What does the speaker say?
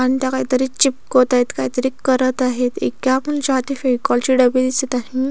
अण त्या काहीतरी चिपकवत आहेत काहीतरी करत आहेत हाती फेविकाॅल ची डबी दिसत आहे.